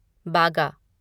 बागा